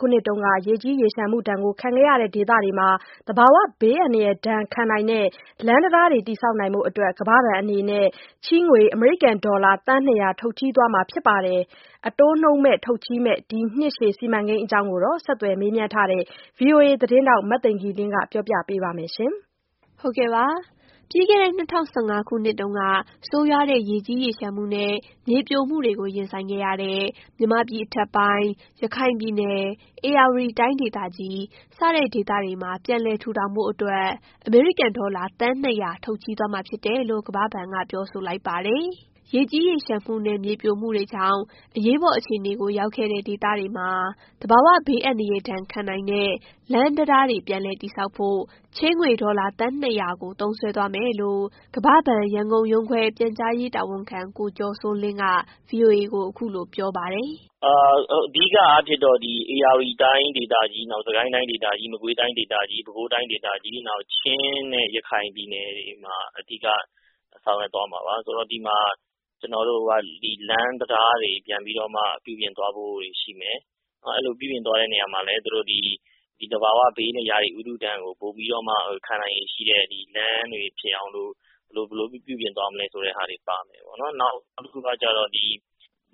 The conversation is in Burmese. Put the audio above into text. ခုနှစ်တုန်းက ရေကြီးရေလျှံမှုဒဏ်ခံခဲ့ရတဲ့ ဒေသတွေမှာ သဘာဝဘေးအန္တရာယ်ဒဏ်ခံနိုင်တဲ့ လမ်း၊တံတားတွေ တည်ဆောက်ဖို့ ကမ္ဘာ့ဘဏ်အနေနဲ့ ချေးငွေ အမေရိကန်ဒေါ်လာ သန်း ၂၀၀ ထုတ်ချေးသွားမှာဖြစ်ပါတယ်။ အတိုးနှုန်းမဲ့ ထုတ်ချေးမယ့် ဒီနှစ်ရှည်စီမံကိန်းအကြောင်း ဆက်သွယ်မေးမြန်းထားတဲ့ VOA သတင်းထောက် မသိင်္ဂ ီလင်းက ပြောပြပေးပါမယ်။ ပြီးခဲ့တဲ့ ၂၀၁၅ ခုနှစ်တုန်းက ဆိုးရွားတဲ့ ရေကြီးရေလျှံမှုနဲ့ မြေပြိုမှုတွေ ရင်ဆိုင်ခဲ့ရတဲ့ မြန်မာပြည်အထက်ပိုင်း၊ ရခိုင်ပြည်နယ်၊ ဧရာဝတီတိုင်းဒေသကြီး စတဲ့ ဒေသတွေမှာ ပြန်လည်ထူထောင်ဖို့အတွက် အမေရိကန်ဒေါ်လာ သန်း ၂၀၀ ထုတ်ချေးသွားမှာဖြစ်တယ်လို့ ကမ္ဘာ့ဘဏ်က ပြောဆိုလိုက်ပါတယ်။ ရေကြီးရေလျှံမှုနဲ့ မြေပြိုမှုတွေကြောင့် အရေးပေါ်အခြေအနေရောက်ခဲ့တဲ့ ဒေသတွေမှာ သဘာဝဘေးအန္တရာယ်ဒဏ်ခံနိုင်တဲ့ လမ်း၊ တံတားတွေ ပြန်လည်တည်ဆောက်ဖို့ ချေးငွေ ဒေါ်လာ သန်း ၂၀၀ကို သုံးစွဲသွားမယ်လို့ ကမ္ဘာ့ဘဏ် ရန်ကုန်ရုံးခွဲ ပြန်ကြားရေးတာဝန်ခံ ကိုကျော်စိုးလင်းက VOA ကို အခုလို ပြောပါတယ်။ “အဓိကအားဖြင့်တော့ ဧရာဝတီတိုင်းဒေသကြီး၊ စစ်ကိုင်းတိုင်းဒေသကြီး၊ မကွေးတိုင်းဒေသကြီး၊ ပဲခူးတိုင်းဒေသကြီး နောက် ချင်းနဲ့ ရခိုင်ပြည်နယ်တွေမှာ အဓိကဆောင်ရွက်သွားမှာပါ။ ကျနော်တို့လမ်းတံတားတွေ ပြန်ပြီးတော့မှ ပြုပြင်သွားဖို့တွေရှိမယ်။ နောက်အဲဒီလို ပြုပြင်သွားမယ့်နေရာတွေမှာလည်း သူတို့ ဒီ သဘာဝဘေး ရာသီဥတုဒဏ်ကို ခံနိုင်ရည်ရှိတဲ့ လမ်းတွေဖြစ်အောင်လို့ ဘယ်လိုပြုပြင်သွားမလဲဆိုတာတွေပါမယ်ပေါ့နော်။ နောက်တခုက